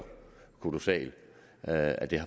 kolossal at at det